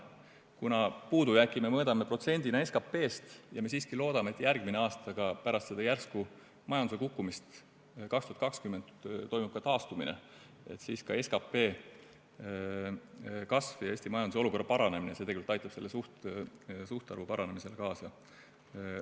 Kuna puudujääki me mõõdame protsendina SKP-st ja me siiski loodame, et järgmisel aastal, pärast järsku majanduse kukkumist 2020. aastal, ikkagi toimub taastumine, siis SKP kasv ja Eesti majanduse olukorra paranemine aitavad selle suhtarvu paranemisele kaasa.